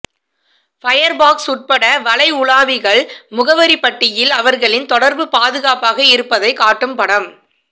Firefox உட்பட வலை உலாவிகள் முகவரி பட்டியில் அவர்களின் தொடர்பு பாதுகாப்பாக இருப்பதைக் காட்டும் படம்